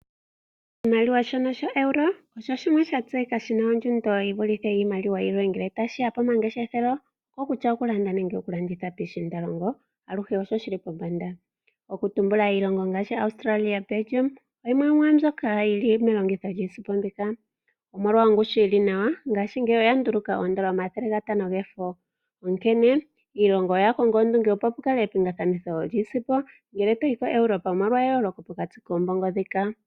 Oshimaliwa shoka shoeuro osho shimwe sha tseyika nawa shi na ongushu shi vulithe iimaliwa yilwe ngele tashi ya pomangeshefelo, okutya okulanda nenge okulanditha piishiindalongo aluhe osho shi li pombanda. Okutumbula ngaashi Australia, Bejium oyo yimwe yi li melongitho lyiisimpo mbika. Omolwa ongushu yi li nawa, ngaashingeyi oya nduluka omathelegatano gefo, onkene iilongo oya konga ondunge opo pukale epingakanitho lyiisimpo ngele to yi koEuropa, omolwa eyooloko pokati koombongo ndhika.